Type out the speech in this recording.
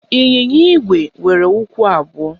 Ịnyịnya Igwe nwere ụkwụ abụọ